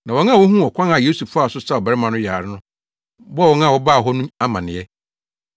Na wɔn a wohuu ɔkwan a Yesu faa so saa ɔbarima no ɔyare no bɔɔ wɔn a wɔbaa hɔ no amanneɛ.